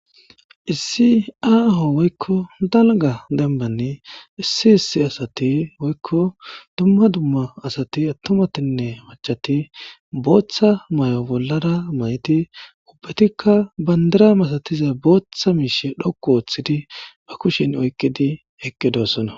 Issi aaho woykko dalga dembanni issi issi asati woykko dumma dumma asati attomatinne machati booththa may7o bollara mayti ubbatikka bandira masatiza booththa miishe dhoku ooththidi ba kushin oykqidi eqqe doosona